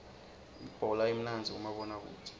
ibhola imnandzi kumabona kudze